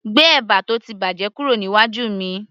gbé ẹ̀bà tó ti bàjẹ́ kúrò níwájú mi